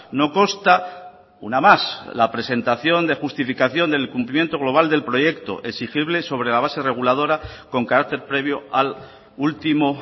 no consta una más la presentación de justificación del cumplimiento global del proyecto exigible sobre la base reguladora con carácter previo al último